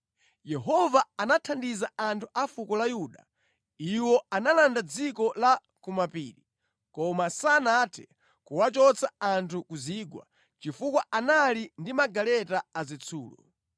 Yehova anathandiza anthu a fuko la Yuda. Iwo analanda dziko la kumapiri, koma sanathe kuwachotsa anthu ku zigwa, chifukwa anali ndi magaleta azitsulo.